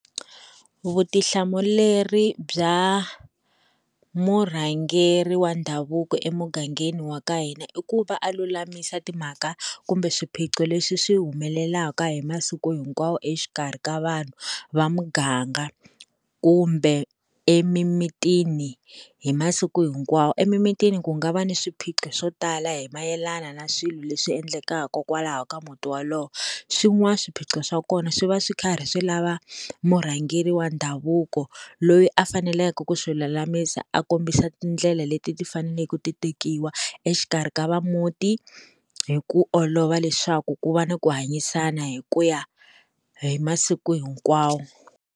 Vutihlamuleri bya murhangeri wa ndhavuko emugangeni wa ka hina i ku va a lulamisa timhaka kumbe swiphiqo leswi swi humelelaka hi masiku hinkwawo exikarhi ka vanhu va muganga kumbe emimitini hi masiku hinkwawo emimitini ku nga va na swiphiqo swo tala hi mayelana na swilo leswi endlekaka kwalaho ka muti wolowo swin'wana swiphiqo swa kona swi va swi karhi swi lava murhangeri wa ndhavuko loyi a faneleke ku swi lulamisa a kombisa tindlela leti ti fanele ku ti tekiwa exikarhi ka va muti hi ku olova leswaku ku va na ku hanyisana hi kuya hi masiku hinkwawo.